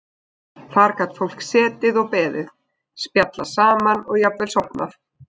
Þar gat fólk setið og beðið, spjallað saman og jafnvel sofnað.